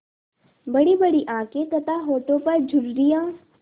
बड़ीबड़ी आँखें तथा होठों पर झुर्रियाँ